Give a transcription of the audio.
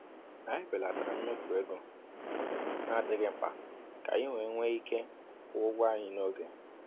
Anyị belatara mmefu ego na-adịghị mkpa ka anyị wee nwee ike kwụọ ụgwọ anyị n’oge.